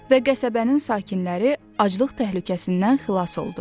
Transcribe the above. Və qəsəbənin sakinləri aclıq təhlükəsindən xilas oldu.